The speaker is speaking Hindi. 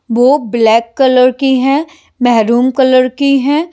बो ब्लैक कलर की हैं महरूम कलर की हैं।